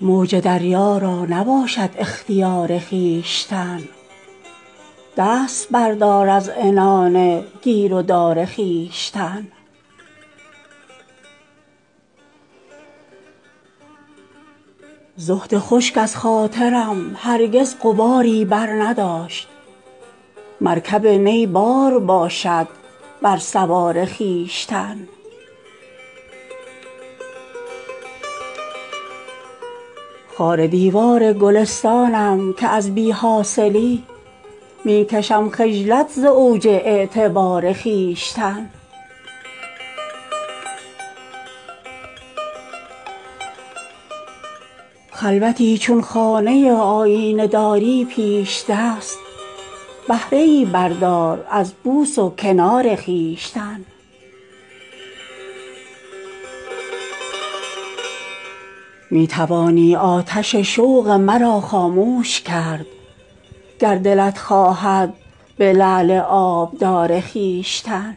موج دریا را نباشد اختیار خویشتن دست بردار از عنان گیر و دار خویشتن زهد خشک از خاطرم هرگز غباری برنداشت مرکب نی بار باشد بر سوار خویشتن خاک باشد از مصافم چشم دشمن را نصیب کرده ام تا خاکساری را حصار خویشتن خار دیوار گلستانم که از بی حاصلی می کشم خجلت ز اوج اعتبار خویشتن خلوتی چون خانه آیینه داری پیش دست بهره ای بردار از بوس و کنار خویشتن گوهر از گرد یتیمی می شود کامل عیار بیش ازین دامن مکش از خاکسار خویشتن می توانی آتش شوق مرا خاموش کرد گر دلت خواهد به لعل آبدار خویشتن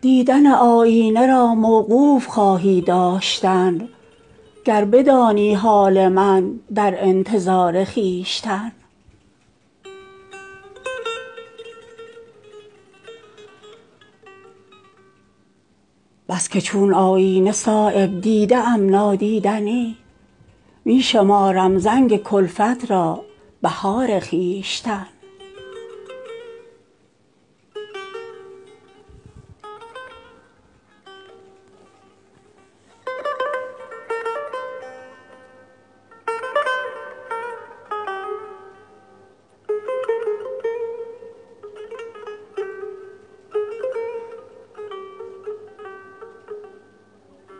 دیدن آیینه را موقوف خواهی داشتن گر بدانی حال من در انتظار خویشتن گر دهم ملک سلیمان را به موری بی سؤال همچنان باشم ز همت شرمسار خویشتن بس که چون آیینه صایب دیده ام نادیدنی می شمارم زنگ کلفت را بهار خویشتن